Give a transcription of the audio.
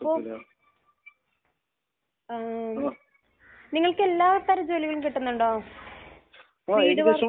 അപ്പോൾ ഏഹ് നിങ്ങൾക്ക് എല്ലാ തരം ജോലികളും കിട്ടുന്നുണ്ടോ? വീട് പണിക്ക്